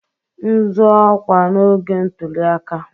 M zọọ ọkwa n'oge ntuli aka